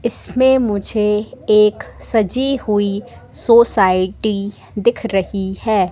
इसमें मुझे एक सजी हुई सोसाइटी दिख रही है।